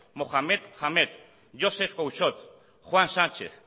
mohamed hamed joseph couchot juan sánchez